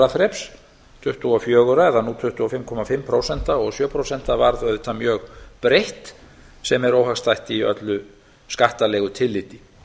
þreps tuttugu og fjögur eða nú tvö hundruð fimmtíu og fimm prósent og sjö prósent varð auðvitað mjög breitt sem er óhagstætt í öllu skattalegu tilliti